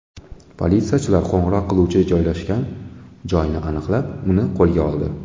Politsiyachilar qo‘ng‘iroq qiluvchi joylashgan joyni aniqlab, uni qo‘lga oldi.